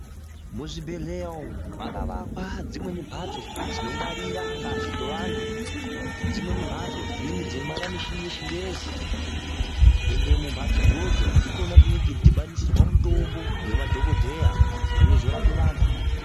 Muzvibhedhlera umo makavakwa dzimweni mbatso dzinongwara ngazi dzevantu, dzimweni mbatso dzinenge dzeingwarira michini yechingezi ende kumbatso idzodzo ndikona kune kweidhibanisirwa mutombo ngemadhokodheya unozorape vantu.